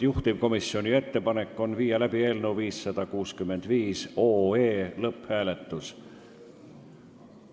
Juhtivkomisjoni ettepanek on panna eelnõu 565 lõpphääletusele.